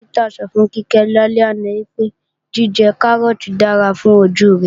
Dókítà sọ fún Kíkẹ́ lálẹ́ àná pé, jíjẹ Kárọ́ọ̀tì dára fún ojú rẹ̀